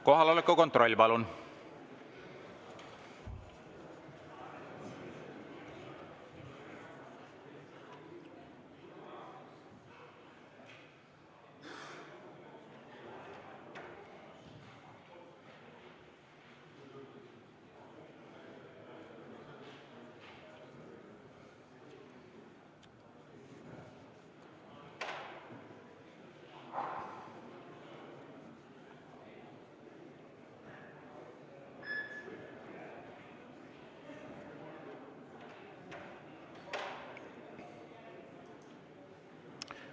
Kohaloleku kontroll, palun!